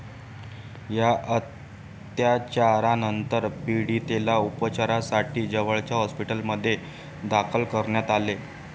या अत्याचारानंतर पीडितेला उपचारांसाठी जवळच्या हॉस्पिटलमध्ये दाखल करण्यात आले.